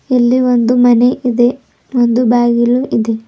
ಇಲ್ಲಿ ಒಂದು ಮನೆ ಇದೆ ಒಂದು ಬಾಗಿಲು ಇದೆ.